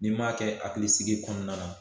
N'i m'a kɛ hakilisigi kɔnɔna na